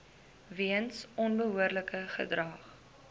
weens onbehoorlike gedrag